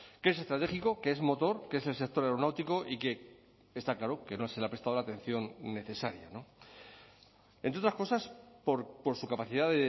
que es estratégico que es motor que es el sector aeronáutico y que está claro que no se le ha prestado la atención necesaria entre otras cosas por su capacidad